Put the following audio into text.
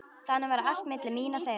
Þannig var allt milli mín og þeirra.